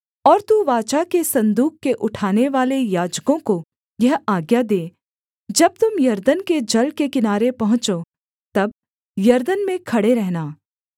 और तू वाचा के सन्दूक के उठानेवाले याजकों को यह आज्ञा दे जब तुम यरदन के जल के किनारे पहुँचो तब यरदन में खड़े रहना